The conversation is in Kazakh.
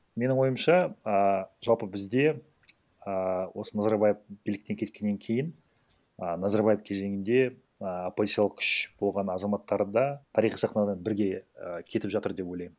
менің ойымша а жалпы бізде ааа осы назарбаев биліктен кеткеннен кейін а назарбаев кезеңінде а оппозициялық күш болған азаматтар да тарихи сахнадан бірге і кетіп жатыр деп ойлаймын